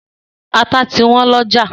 Ata ti wọ́n lọ́jà.